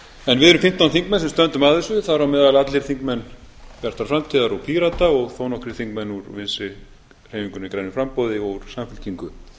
en við erum fimmtán þingmenn sem stöndum að þessu þar á meðal allir þingmenn bjartar framtíðar og pírata og þó nokkrir þingmenn úr vinstri hreyfingunni grænu framboði og úr samfylkingu